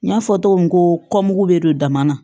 N y'a fɔ cogo min ko mugu bɛ don dama na